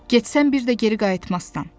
Getsən bir də geri qayıtmazsan.